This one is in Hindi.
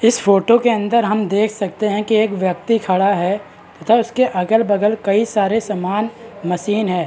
इस फोटो के अंदर हम देख सकते है की एक व्यक्ति खड़ा है तथा उसके अगल बगल कई सारे सामान मशीन है ।